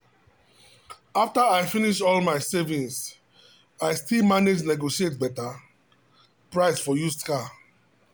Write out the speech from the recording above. after i finish all my savings i still manage negotiate better price for used car.